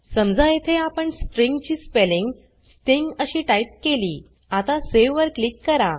समजा येथे आपण स्ट्रिंग ची स्पेलिंग स्टिंग अशी टाइप केली आता सावे वर क्लिक करा